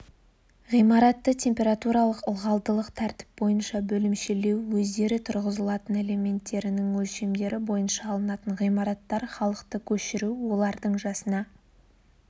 ғимаратты температуралық-ылғалдылық тәртіп бойынша бөлімшелеу өздері тұрғызылатын элементтерінің өлшемдері бойынша алынатын ғимараттар халықты көшіру олардың жасына